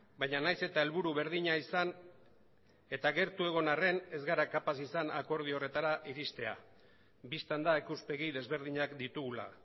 baina nahiz eta helburu berdina izan eta gertu egon arren ez gara kapaz izan akordio horretara iristea bistan da ikuspegi desberdinak ditugula